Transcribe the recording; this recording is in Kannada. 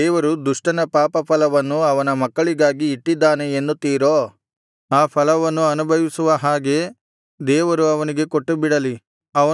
ದೇವರು ದುಷ್ಟನ ಪಾಪ ಫಲವನ್ನು ಅವನ ಮಕ್ಕಳಿಗಾಗಿ ಇಟ್ಟಿದ್ದಾನೆ ಎನ್ನುತ್ತೀರೋ ಆ ಫಲವನ್ನು ಅನುಭವಿಸುವ ಹಾಗೆ ದೇವರು ಅವನಿಗೆ ಕೊಟ್ಟುಬಿಡಲಿ